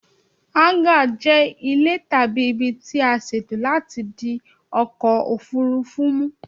Háńgà jẹ ile tabi ibi tí a ṣètò láti di ọkọ̀ òfúrufú mu